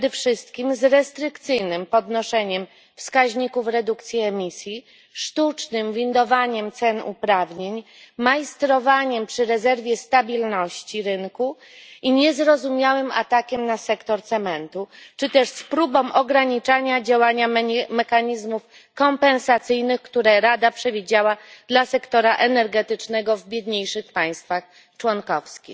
Przede wszystkim z restrykcyjnym podnoszeniem wskaźników redukcji emisji, sztucznym windowaniem ceny uprawnień, majstrowaniem przy rezerwie stabilności rynku i niezrozumiałym atakiem na sektor cementu, czy też z próbą ograniczania działania mechanizmów kompensacyjnych, które Rada przewidziała dla sektora energetycznego w biedniejszych państwach członkowskich.